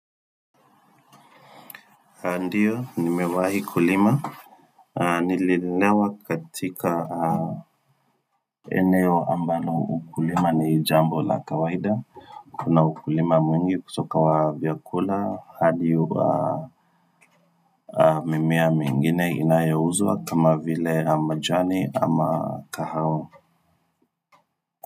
Ndio, nimewahi kulima, nililelewa katika eneo ambalo ukulima ni jambo la kawaida, Kuna ukulima mwingi kutoka wa vyakula, hadi wa mimea mingine inayouzwa kama vile majani ama kahawa.